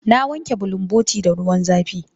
Na wanke bulunbotin da ruwan zafi.